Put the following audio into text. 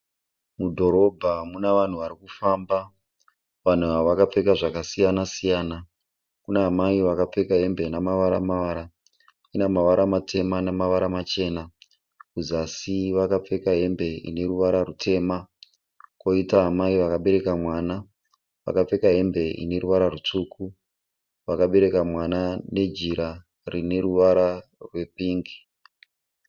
Mudhorobha mune vanhu vari kufamba. Vanhu ava vakapfeka zvakasiyana siyana. Kuna amai Vakapfeka hembe ine mavara mavara. Ine mavara matema nemavara machena. Kuzasi vakapfeka hembe ine ruvara rwutema kwoita amai vakabereka mwana. Vakapfeka hembe ine ruvara rwutsvuku. Vakabereka mwana nejira rine ruvara rwepingi.